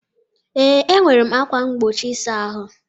Ee, nwere ákwà mgbochi ịsa ahụ.